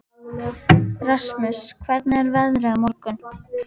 Rasmus, hvernig er veðrið á morgun?